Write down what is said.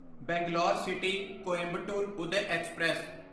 Bangalore city Coimbatore Uday express